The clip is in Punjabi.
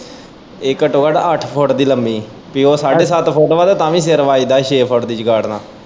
ਏ ਘੱਟੋ-ਘੱਟੋ ਅੱਠ ਫੁੱਟ ਦੀ ਲੰਮੀ ਪੀ ਉਹ ਸਾਡੇ ਸੱਤ ਫੁੱਟ ਵਾ ਤਾਂ ਵੀ ਸਿਰ ਵੱਜਦਾ ਛੇ ਫੁੱਟ ਦੀ ਚੰਗਾਂਠ ਨਾਲ।